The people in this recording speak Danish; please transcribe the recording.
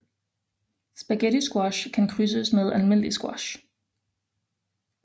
Spaghettisquash kan krydses med almindelig squash